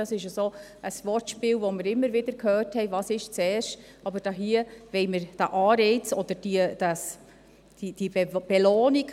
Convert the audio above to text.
Dies ist ein Wortspiel, zu dem wir immer wieder gehört haben, was zuerst sei, aber hier wollen wir den Anreiz oder die Belohnung durchziehen.